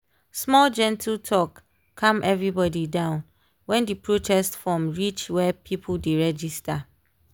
small gentle talk calm everybody down when di protest form reach where people dey register.